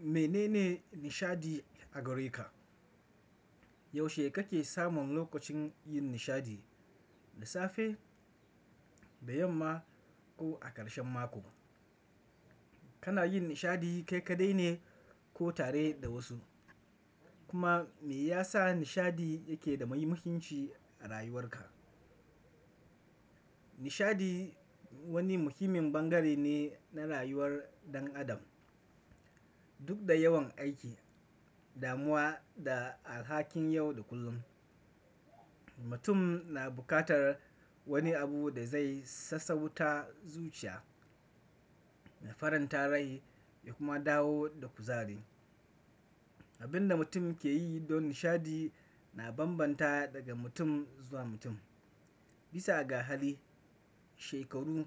Mene ne nishaɗi a gare ka? Yaushe kake samun lokacin yin nishaɗi, da safe, bayan ma ko a ƙarshen mako? Kana yin nishadi kai kaɗai ne ko tare da wasu? Kuma me ya sa nishaɗi yake da muhimmanci a rayuwarka? Nishadi wani muhimmin bangare ne na rayuwar ɗan adam. Duk da yawan aiki, damuwa da alhakin yau da kullum, mutum na buƙatar wani abu da zai sassauta zuciya, na faranta rai ya kuma dawo da kuzari. Abin da mutum ke yi don nishadi na bambanta daga mutum zuwa mutum, bisa ga hali, shekaru,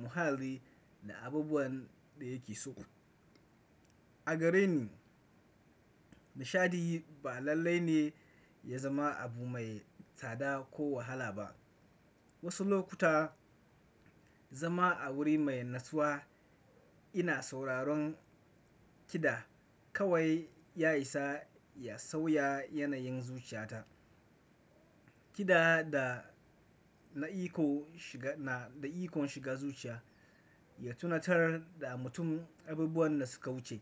muhalli da abubuwan da yake so. A gare ni, nishaɗi ba lallai ne ya zama abu mai tsada ko wahala ba. Wasu lokuta zama a wuri mai natsuwa ina sauraron kiɗa kawai ya isa ya sauya yanayin zuciyata. Kiɗa da na iko shiga, na da ikon shiga zuciya, ya tunatar da mutum abubuwan da suka wuce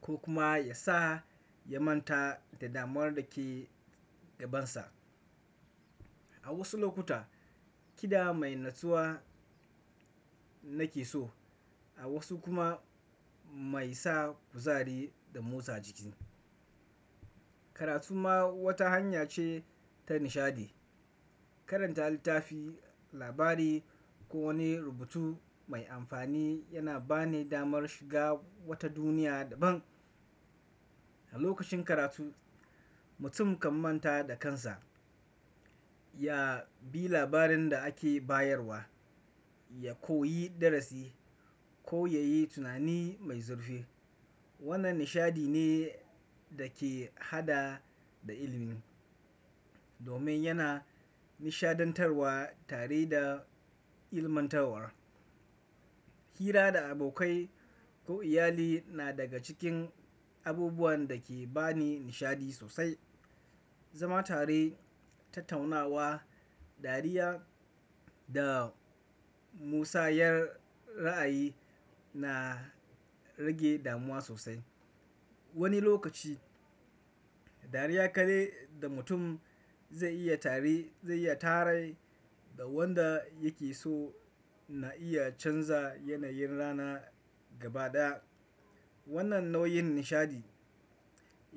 ko kuma ya sa ya manta da damuwar da ke gabansa. A wasu lokuta kiɗa mai natsuwa nake so a wasu kuma mai sa kuzari da motsa jiki. Karatu ma wata hanya ce ta nishadi. Karanta littafi, labari ko wani rubutu mai amfani yana bani damar shiga wata duniya daban. A lokacin karatu, mutum kan manta da kansa, ya bi labarin da ake bayarwa, ya koyi darasi ko yayi tunani mai zurfi. Wannan nishaɗi ne da ke haɗa da ilimin, domin yana nishaɗantar wa tare da ilmantarwa. Hira da abokai ko iyali na daga cikin abubuwan da ke bani nishadi sosai. Zama tare, tattaunawa, dariya da musayar ra'ayi na rage damuwa sosai. Wani lokaci dariya kaɗai da mutum zai iya tare, zai iya tare da wanda yake so na iya canza yanayin rana gabaɗaya. Wannan nau'in nishaɗi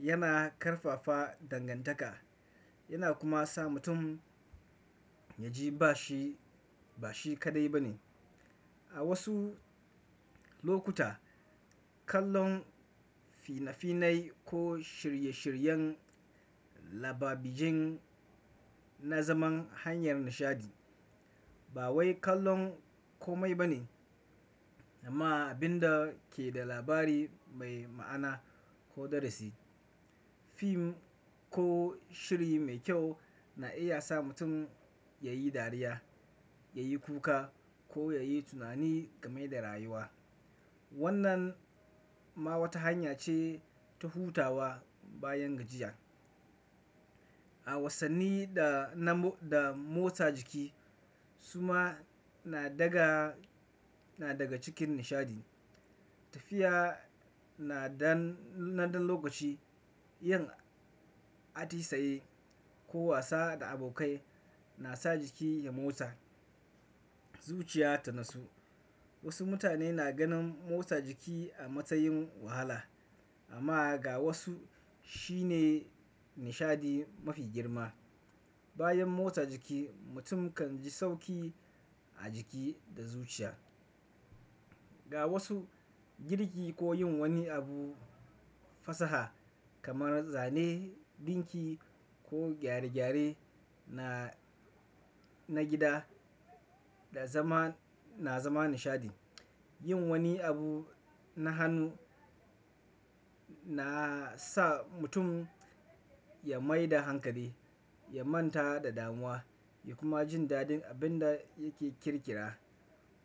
yana ƙarfafa dangantaka yana kuma sa mutum ya ji ba shi, ba shi kaɗai ba ne. A wasu lokuta kallon fina-finai ko shirye-shiryen talabijin na zama hanyar nishadi. Ba wai kallon komai ba ne amma abin da ke da labari mai ma'ana ko darasi. Film ko shiri mai kyau na iya sa mutum ya yi dariya, ya yi kuka ko ya yi tunani game da rayuwa. Wannan ma wata hanya ce ta hutawa bayan gajiya. A wasanni da na bu da motsa jiki suma na daga, na daga cikin nishaɗi. Tafiya na dan, na ɗan lokaci, yin atisaye ko wasa da abokai na sa jiki ya motsa, zuciya ta natsu. Wasu mutane na ganin motsa jiki a matsayin wahala amma ga wasu shi ne nishadi mafi girma. Bayan motsa jiki mutum kan ji sauƙi a jiki da zuciya. Ga wasu girki ko yin wani abu fasaha kamar zane, ɗinki ko gyare-gyare na, na gida da zama na zama nishaɗi. Yin wani abu na hannu na sa mutum ya maida hankali, ya manta da damuwa ya kuma jin daɗin abin da yake ƙirƙira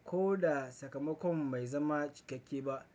ko da sakamakon bai zama cikakke ba.